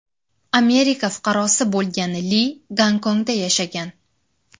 Amerika fuqarosi bo‘lgan Li Gonkongda yashagan.